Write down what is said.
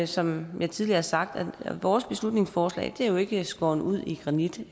som jeg tidligere har sagt at vores beslutningsforslag jo ikke er skåret ud i granit